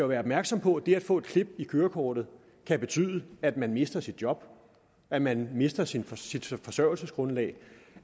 være opmærksomme på at det at få et klip i kørekortet kan betyde at man mister sit job at man mister sit sit forsørgelsesgrundlag